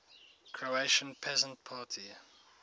croatian peasant party